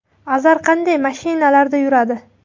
Azar qanday mashinalarda yuradi?